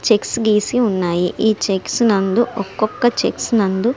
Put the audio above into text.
Checks గీసి వున్నాయి. ఈ చెక్స్ నందు ఒక్కొక చెక్స్ నందు --